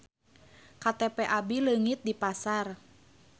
KTP abi leungit di pasar